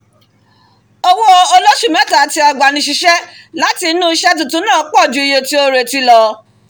owó olóṣù mẹ́ta tí agbanisíṣẹ́ láti inú iṣẹ́ tutun náà pọ̀ ju iye tí ó retí lọ